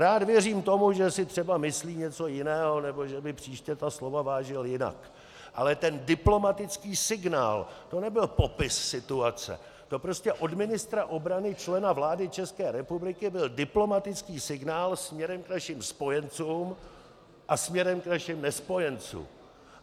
Rád věřím tomu, že si třeba myslí něco jiného nebo že by příště ta slova vážil jinak, ale ten diplomatický signál, to nebyl popis situace, to prostě od ministra obrany, člena vlády České republiky, byl diplomatický signál směrem k našim spojencům a směrem k našim nespojencům.